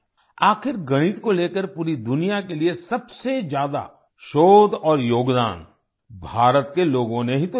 आखिर गणित को लेकर पूरी दुनिया के लिए सबसे ज्यादा शोध और योगदान भारत के लोगों ने ही तो दिया है